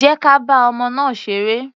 Jẹ́ ka bá ọmọ náà ṣeré.